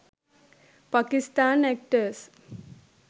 pakisthan actors